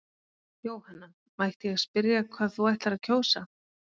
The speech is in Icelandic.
Jóhanna: Mætti ég spyrja hvað þú ætlar að kjósa?